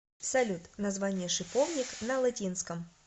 салют название шиповник на латинском